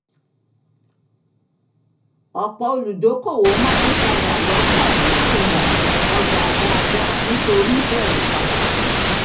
ọ̀pọ̀ olùdókòwò máa n tajà lọ́fọ̀n láì mọ̀ ọjà dáadáa nítorí bẹ̀rù padà